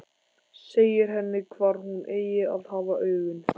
Segir henni hvar hún eigi að hafa augun.